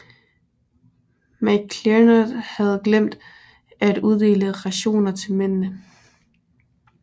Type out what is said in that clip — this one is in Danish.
McClernand havde glemt at uddele rationer til mændene